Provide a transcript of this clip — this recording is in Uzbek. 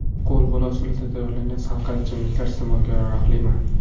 Qo‘lbola usulida tayyorlangan salqin ichimliklar iste’molga yaroqlimi?